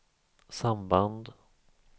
samband